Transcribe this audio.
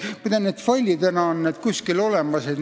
Muide, need skeemid on failidena kuskil olemas.